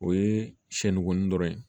O ye siyɛnni kun dɔrɔn ye